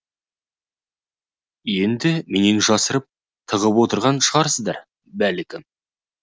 енді менен жасырып тығып отырған шығарсыздар бәлкім